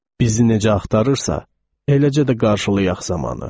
Bizi necə axtarırsa, eləcə də qarşılayax zamanı.